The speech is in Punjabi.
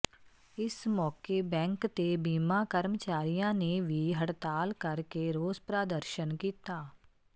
ਇਸ ਮੌਕੇ ਬੈਂਕ ਤੇ ਬੀਮਾ ਕਰਮਚਾਰੀਆਂ ਨੇ ਵੀ ਹੜਤਾਲ ਕਰ ਕੇ ਰੋਸ ਪ੍ਰਦਰਸ਼ਨ ਕੀਤਾ